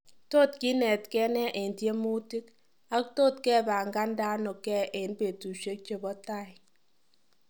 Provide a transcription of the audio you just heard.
Tot kinetken ne en tyemutik ak tot kepangandano ken en betusiiek chebo taii?